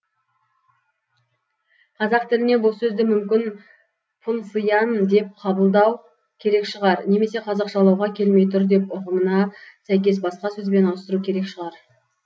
қазақ тіліне бұл сөзді мүмкін пұнсыйан деп қабылдау керек шығар немесе қазақшалауға келмей тұр деп ұғымына сәйкес басқа сөзбен ауыстыру керек шығар